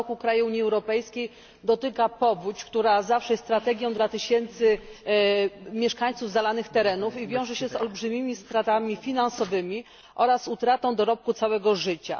Co roku krajów Unii Europejskiej dotyka powódź, która zawsze jest tragedią dla tysięcy mieszkańców zalanych terenów i wiąże się z olbrzymimi stratami finansowymi oraz utratą dorobku całego życia.